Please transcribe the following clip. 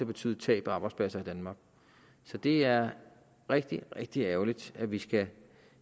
betyde tab af arbejdspladser i danmark så det er rigtig rigtig ærgerligt at vi skal